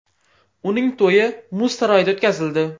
Uning to‘yi muz saroyida o‘tkazildi .